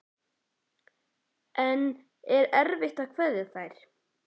En er erfitt að kveðja þær?